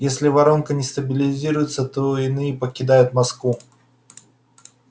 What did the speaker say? если воронка не стабилизируется то иные покидают москву